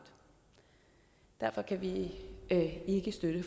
derfor kan vi ikke støtte